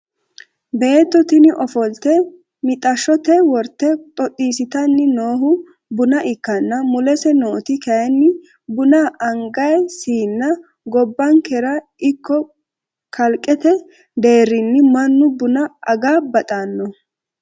Beetto tini ofolte mixaashshote worte xoxxissitanni noohu buna ikkanna mulese noot kayinn buna angay siinnati. gobankera ikko kalqete deerrinni mannu buna aga baxanno.